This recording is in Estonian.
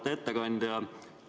Auväärt ettekandja!